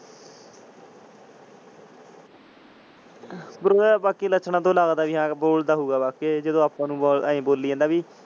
ਬਾਕੀ ਇਹਦੇ ਲੱਛਣਾਂ ਤੋਂ ਲਗਦਾ ਬਾਯੀ ਹਾਂ ਬੋਲਦਾ ਹੋਊਗਾ ਜਿੰਦੇ ਆਪਾਂ ਨੂੰ ਏਈ ਬੋਲੀ ਜਾਂਦਾ ਬਇ।